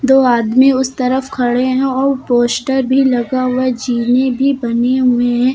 दो आदमी उस तरफ खड़े हैं और पोस्टर भी लगा हुआ है जिने बने हुए हैं।